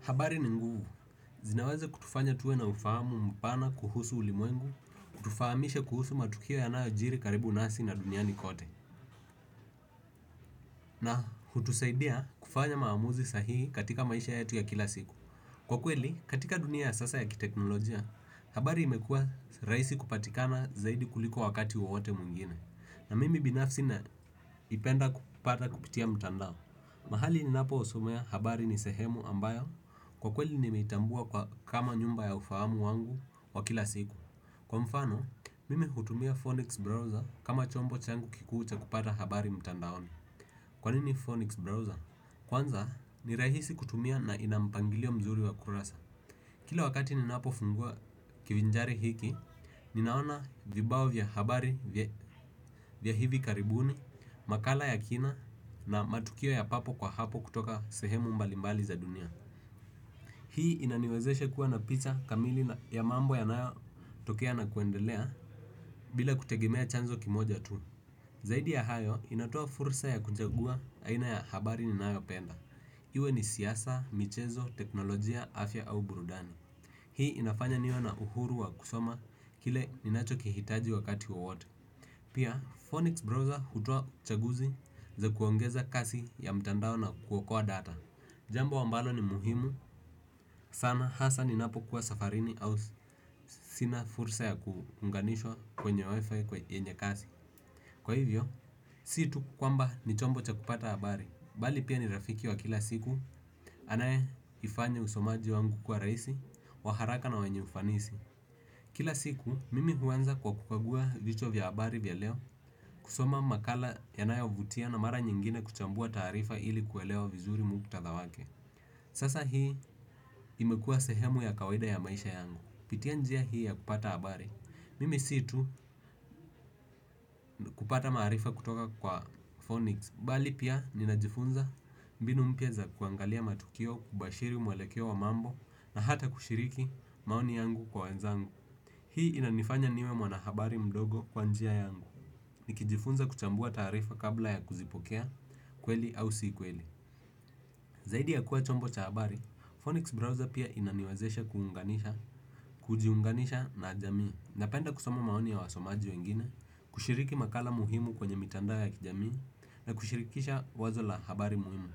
Habari ni nguvu. Zinaweza kutufanya tuwe na ufahamu mpana kuhusu ulimwengu, kutufahamisha kuhusu matukio yanayojiri karibu nasi na duniani kote. Na hutusaidia kufanya maamuzi sahii katika maisha yetu ya kila siku. Kwa kweli, katika dunia ya sasa ya kiteknolojia, habari imekua raisi kupatikana zaidi kuliko wakati wawote mwingine. Na mimi binafsi napenda kupata kupitia mutandao. Mahali ninapo somea habari ni sehemu ambayo kwa kweli nimeitambua kama nyumba ya ufahamu wangu wa kila siku. Kwa mfano, mimi hutumia Phonix Browser kama chombo changu kikuu cha kupata habari mtandaoni. Kwanini Phonics Browser? Kwanza, ni rahisi kutumia na ina mpangilio mzuri wa kurasa. Kila wakati ninapofungua kivinjari hiki, ninaona vibao vya habari vya hivi karibuni, makala ya kina na matukio ya papo kwa hapo kutoka sehemu mbalimbali za dunia. Hii inaniwezeshe kuwa na picha kamili ya mambo yanayotokea na kuendelea bila kutegemea chanzo kimoja tu. Zaidi ya hayo, inatoa fursa ya kuchagua aina ya habari ninayo penda. Iwe ni siyasa, michezo, teknolojia, afya au burudani. Hii inafanya niwe na uhuru wa kusoma kile ninacho kihitaji wakati wa wote. Pia Phonics Browser hutoa uchaguzi za kuongeza kasi ya mtandao na kuokoa data. Jambo ambalo ni muhimu sana hasa ninapokuwa safarini au sina fursa ya kuunganishwa kwenye wifi yenye kasi. Kwa hivyo, si tu kwamba ni chombo cha kupata habari bali pia ni rafiki wa kila siku. Anaye ifanya usomaji wangu kuwa rahisi, wa haraka na wenye ufanisi. Kila siku, mimi huanza kwa kukagua vichwa vya habari vya leo, kusoma makala yanayovutia na mara nyingine kuchambua tarifa ili kuelewa vizuri muhktadha wake. Sasa hii imekuwa sehemu ya kawaida ya maisha yangu kupitia njia hii ya kupata habari. Mimi si tu kupata marifa kutoka kwa Phonics, mbali pia ninajifunza mbinu mpya za kuangalia matukio kubashiri mwelekeo wa mambo na hata kushiriki maoni yangu kwa wenzangu. Hii inanifanya niwe mwanahabari mdogo kwa njia yangu. Nikijifunza kuchambua tarifa kabla ya kuzipokea kweli au si kweli. Zaidi ya kuwa chombo cha habari, Phonics Browser pia inaniwazesha kuunganisha kujiunganisha na jamii. Napenda kusoma maoni ya wasomaji wengine, kushiriki makala muhimu kwenye mitandao ya kijamii na kushirikisha wazo la habari muhimu.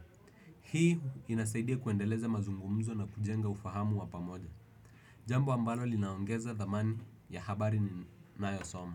Hii inasaidia kuendeleza mazungumzo na kujenga ufahamu wa pamoja. Jambo ambalo linaongeza dhamani ya habari ninayosoma.